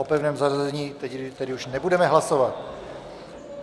O pevném zařazení tedy už nebudeme hlasovat.